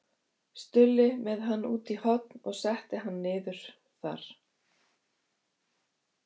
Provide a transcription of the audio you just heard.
Stulli með hann út í horn og setti hann þar niður.